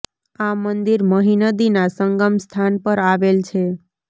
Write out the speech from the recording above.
આ મંદિર મહિ નદીના સંગમ સ્થાન પર આવેલ છે